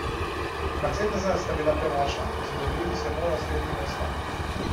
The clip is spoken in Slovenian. Mercedesa sta bila premočna, zadovoljiti se je moral s tretjim mestom.